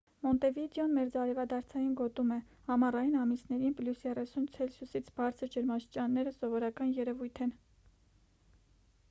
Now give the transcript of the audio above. մոնտեվիդեոն մերձարևադարձային գոտում է. ամառային ամիսներին +30 c-ից բարձր ջերմաստիճանները սովորական երևույթ են: